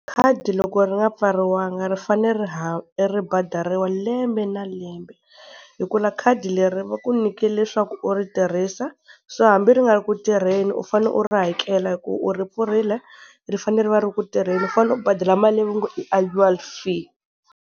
Khadi loko ri nga pfariwanga ri fanele ri ri badariwa lembe na lembe. Hikuva khadi leri va ku nyike leswaku u ri tirhisa, so hambi ri nga ri ku tirheni u fane u ri hakela hi ku u ri pfurile, ri fanele ri va ri ri ku tirheni u fanele u badala mali leyi va ngo i annual fee.